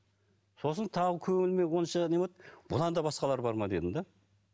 сосын тағы көңіліме онша не болды бұдан да басқалар бар ма дедім де